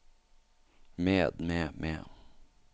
med med med